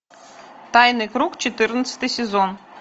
тайный круг четырнадцатый сезон